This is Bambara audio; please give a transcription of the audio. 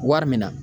Wari min na